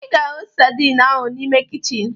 Ị ga-ahụ sadin ahụ n'ime kichin